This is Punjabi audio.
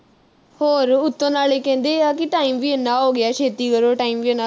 ਹੋਰ ਉਤੋਂ ਨਾਲੋ ਕਹਿੰਦੇ ਆ ਕਿ. time ਵੀ ਇੰਨਾ ਹੋ ਗਿਆ ਛੇਤੀ ਕਰੋ time ਵੀ ਇੰਨਾ